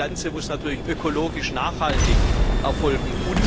Dieser Handel muss natürlich ökologisch nachhaltig erfolgen.